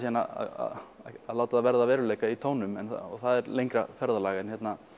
að láta það verða að veruleika í tónum og það er lengra ferðalag en